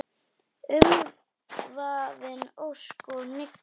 Umvafin ósk og hyggju.